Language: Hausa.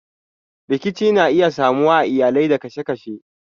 Rikici na iya samuwa a iyalai da kasashe.